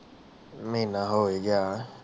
ਮਹੀਨਾ ਹੋਇ ਗਿਆ